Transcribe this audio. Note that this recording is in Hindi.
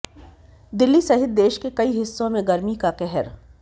दिल्ली सहित देश के कई हिस्सों में गर्मी का कहर